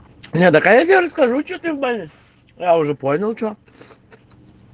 у меня такая же скажу что ты в баню я уже понял что